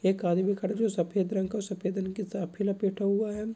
एक आदमी खड़ा है जो सफ़ेद रंग का औ सफ़ेद रंग की साफी लपेटा हुआ है।